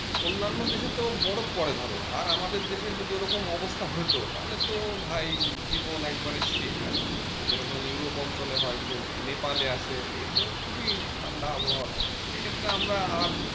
অন্যান্য দেশেতে তো অনেক বরফ পড়ে ধরো আর আমাদের দেশের যদি ওইরকম অবস্থা হতো তাহলে তো ভাই জীবন একবারে শেষ আরকি যেরকম ইউরোপ অঞ্চলে হয় খুব নেপালে আছে এইটা খুবই ঠান্ডা আবহাওয়া থাকে সেক্ষেত্রে আমরা আরাম,